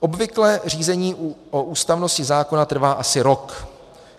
- Obvykle řízení o ústavnosti zákona trvá asi rok.